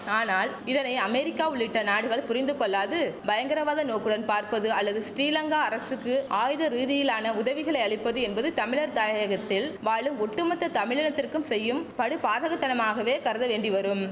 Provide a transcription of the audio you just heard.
ஆனால் இதனை அமெரிக்கா உள்ளிட்ட நாடுகள் புரிந்து கொள்ளாது பயங்கரவாத நோக்குடன் பார்ப்பது அல்லது ஸ்ரீலங்கா அரசுக்கு ஆயுத ரீதியிலான உதவிகளை அளிப்பது என்பது தமிழர் தாயகத்தில் வாழும் ஒட்டுமொத்த தமிழினத்திற்கும் செய்யும் படுபாதகத்தனமாகவே கருத வேண்டிவரும்